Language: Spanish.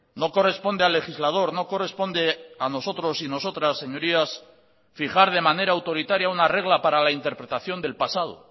no corresponde al legislador no corresponde a nosotros y nosotras señorías fijar de manera autoritaria una regla para la interpretación del pasado